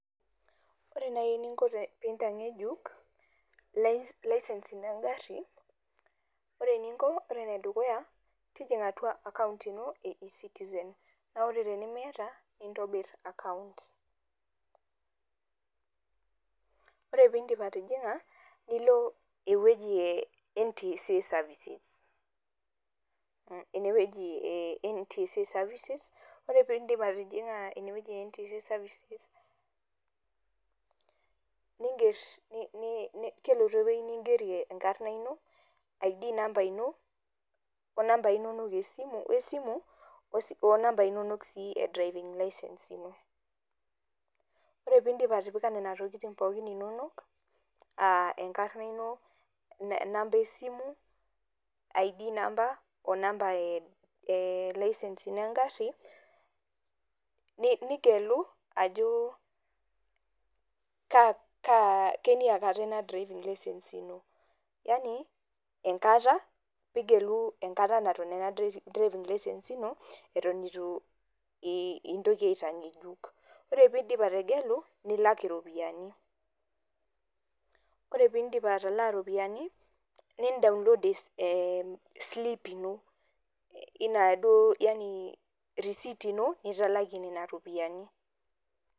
Ore nai eninko piintang'ejuk license ino engarri, ore eninko ore enedukuya tijing'a atua  akaunt ino e e-citizen. Naa ore tenimiata nintobirr akaunt. Ore piindip atijing'a niloo ewueji e ntsa services inewueji eh e ntsa services ore piindip atijing'a inewueji e ntsa services ningerr, [nn] kelotu ewuei ningerie enkarna ino,  id namba ino onambai inonok eesimu, oesimu , onambai inonok sii e driving license ino. Ore piindip atipika nena tokitin pookin inonok aah enkarna ino enamba esimu,  id namba onamba eelicence ino engarri [nih] nigelu ajoo kaa kaa keniakata ina driving license ino yanii enkata piigelu enkata naton ena driving license ino eton eitu intoki aitang'ejuk. Ore piindip ategelu nilak iropiyani. Kore piindip atalaa iropiyani nindownload eslip ino [ih] inaduo yani receipt ino nitalakie nena ropiani.